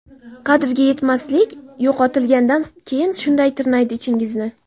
Qadriga yetmaslik - yo‘qotilgandan keyin shunday tirnaydi ichingizni.